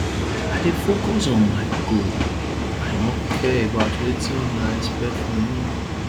i dey focus on my goal i no care about wetin una expect from me